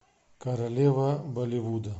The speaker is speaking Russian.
королева болливуда